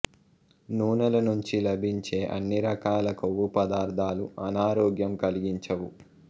నూనెల నుంచి లభించే అన్ని రకాల కొవ్వుపదార్థాలు అనారోగ్యం కలిగించవు